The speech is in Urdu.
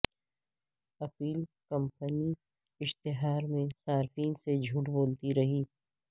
ایپل کمپنی اشتہار میں صارفین سے جھوٹ بولتی رہی